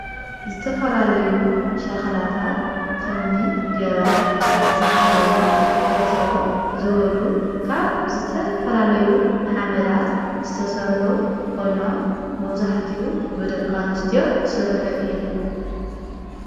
ዝተፈላለዩ ሻኽላታት ኸምኒ ጀበና ፃሕሊ ኤትሮ ዝበሉ ካብ ዘተፈላለዩ ሓመዳት ዝተሠርዑ ፈይኖም መውዛሕትኡ ብደቕቃንስት ስርሑ እዩ።